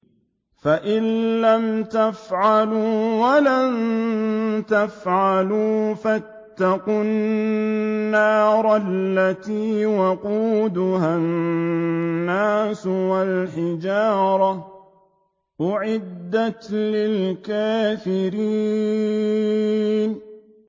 فَإِن لَّمْ تَفْعَلُوا وَلَن تَفْعَلُوا فَاتَّقُوا النَّارَ الَّتِي وَقُودُهَا النَّاسُ وَالْحِجَارَةُ ۖ أُعِدَّتْ لِلْكَافِرِينَ